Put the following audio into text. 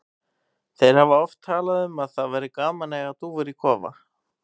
Þeir hafa oft talað um að það væri gaman að eiga dúfur í kofa.